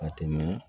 Ka tɛmɛ